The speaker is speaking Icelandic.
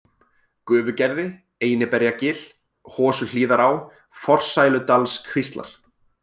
Gufugerði, Einiberjagil, Hosuhlíðará, Forsæludalskvíslar